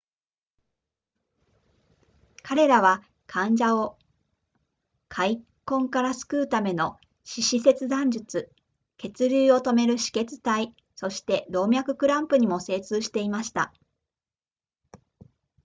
彼らは患者を壊疽から救うための四肢切断術血流を止める止血帯そして動脈クランプにも精通していました